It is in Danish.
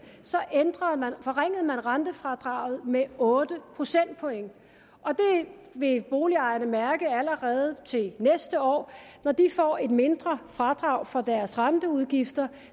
ændrede man forringede man rentefradraget med otte procentpoint det vil boligejerne mærke allerede til næste år når de får et mindre fradrag for deres renteudgifter